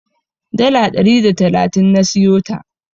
Dala ɗari da talatin na siyota.